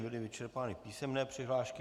Byly vyčerpány písemné přihlášky.